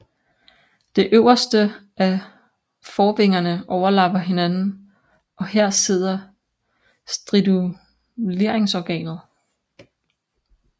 Det øverste af forvingerne overlapper hinanden og her sidder striduleringsorganet